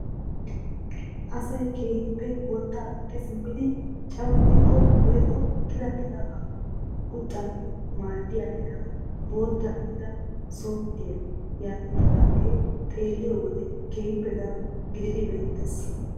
Asay keehippe wottaa woxxi simmidi cawattiko woykko qitattidabaa quccanawu maaddiyaa meran bootta gidida sopttiyaa yaagetettiyaage xeelliyoo wode keehippe daro gididi beettees.